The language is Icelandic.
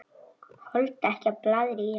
Þoldi ekki blaðrið í henni.